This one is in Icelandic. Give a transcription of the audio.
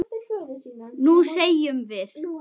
Nú semjum við!